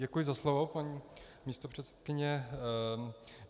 Děkuji za slovo, paní místopředsedkyně.